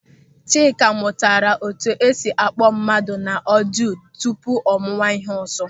Chika mụtara etu esi akpọọ mmadụ na ọdịo tupu ọ mụwa ịhe ọzọ.